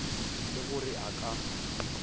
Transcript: le go re a ka